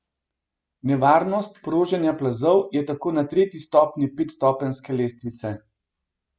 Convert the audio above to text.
Nevarnost proženja plazov je tako na tretji stopnjo petstopenjske lestvice.